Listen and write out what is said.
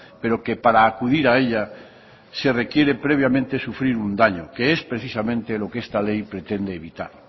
pero que para acudir a ella se requiere previamente sufrir un daño que es precisamente lo que esta ley pretende evitar